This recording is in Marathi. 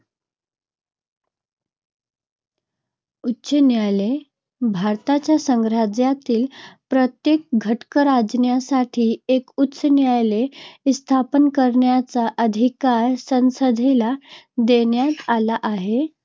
उच्च न्यायालय - भारताच्या संघराज्यातील प्रत्येक घटकराज्यासाठी एक उच्च न्यायालय स्थापन करण्याचा अधिकार संसदेला देण्यात आला आहे.